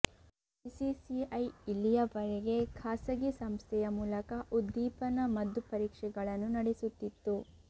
BCCI ಇಲ್ಲಿಯವರಗೆ ಖಾಸಗಿ ಸಂಸ್ಥೆಯ ಮೂಲಕ ಉದ್ದೀಪನ ಮದ್ದು ಪರೀಕ್ಷೆಗಳನ್ನು ನಡೆಸುತಿತ್ತು